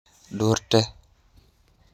Duterte